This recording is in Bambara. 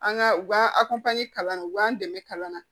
An ka u b'a a kalan u k'an dɛmɛ kalan na